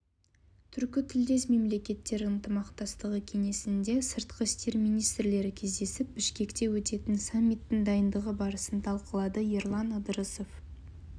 түркітілдес мемлекеттер ынтымақтастығы кеңесінде сыртқы істер министрлері кездесіп бішкекте өтетін саммиттің дайындығы барысын талқылады ерлан ыдырысов